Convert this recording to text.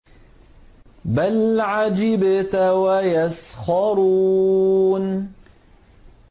بَلْ عَجِبْتَ وَيَسْخَرُونَ